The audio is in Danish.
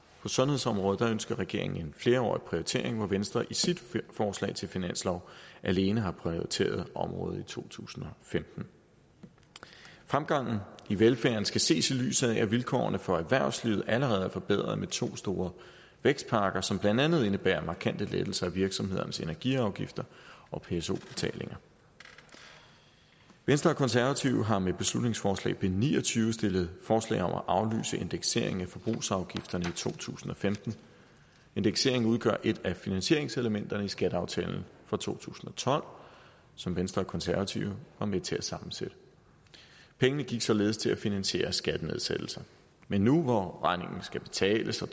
på sundhedsområdet ønsker regeringen en flerårig prioritering hvor venstre i sit forslag til finanslov alene har prioriteret området i to tusind og femten fremgangen i velfærden skal ses i lyset af at vilkårene for erhvervslivet allerede er forbedret med to store vækstpakker som blandt andet indebærer markante lettelser i virksomhedernes energiafgifter og pso betalinger venstre og konservative har med beslutningsforslag nummer b ni og tyve stillet forslag om at aflyse indekseringen af forbrugsafgifterne i to tusind og femten indekseringen udgør et af finansieringselementerne i skatteaftalen for to tusind og tolv som venstre og konservative var med til at sammensætte pengene gik således til at finansiere skattenedsættelser men nu hvor regningen skal betales og